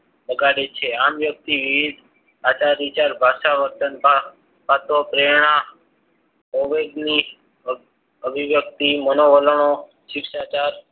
વગાડે છે. આમ વ્યક્તિ વિવિધ આચાર વિચાર ભાષા વર્તન આપતો પ્રેરણા અભિયાન અભિવ્યક્તિ મનોવલણો શિક્ષાચાર